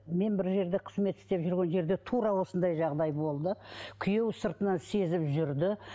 мен бір жерде қызмет істеп жүрген жерде тура осындай жағдай болды күйеуі сыртынан сезіп жүрді